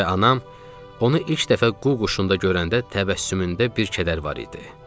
Və anam onu ilk dəfə quru quşunda görəndə təbəssümündə bir kədər var idi.